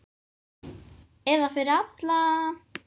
Eða fyrir alla.